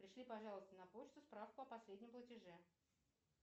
пришли пожалуйста на почту справку о последнем платеже